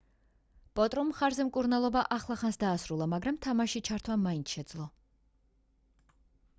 პოტრომ მხარზე მკურნალობა ახლახანს დაასრულა მაგრამ თამაშში ჩართვა მაინც შეძლო